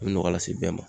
A bɛ nɔgɔ lase bɛɛ ma